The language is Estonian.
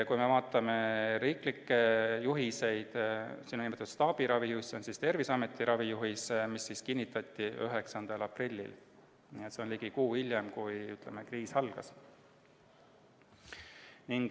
Kui vaatame riiklikke juhiseid, siis siin on nimetatud staabiravijuhist, see on Terviseameti ravijuhis, mis kinnitati 9. aprillil, ligi kuu aega hiljem, kui kriis algas.